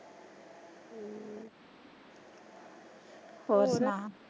ਹੋਰ ਸੁਣਾ?